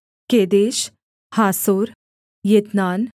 केदेश हासोर यित्नान